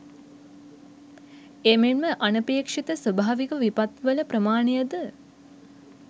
එමෙන්ම අනපේක්ෂිත ස්වභාවික විපත්වල ප්‍රමාණය ද